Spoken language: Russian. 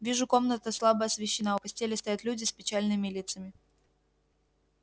вижу комната слабо освещена у постели стоят люди с печальными лицами